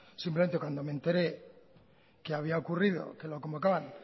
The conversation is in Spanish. simplemente cuando me enteré que había ocurrido que lo convocaban